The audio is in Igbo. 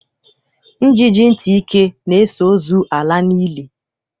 Njiji ntị ike na-eso ozu ala n'ili.